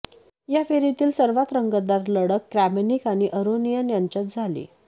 या फेरीतील सर्वात रंगतदार लढत क्रॅमनिक आणि अरोनियन यांच्यात झाली